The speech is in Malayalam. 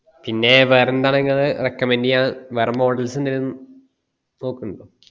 പിന്നെ വേറെ ന്താണ് നിങ്ങള് recommemd ചെയാന് വേറെ models എന്തേലു നോക്കുന്നിണ്ടോ